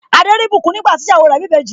Adé rí ìbùkún nígbà tí ìyàwó rẹ̀ bí ìbejì.